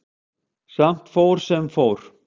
Samt fór sem fór.